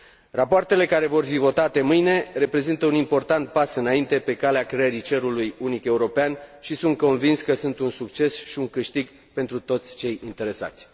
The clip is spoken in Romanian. Rapoartele care vor fi votate mâine reprezintă un important pas înainte pe calea creării cerului unic european și sunt convins că sunt un succes și un câștig pentru toți cei interesați.